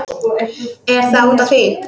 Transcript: Er það út af því?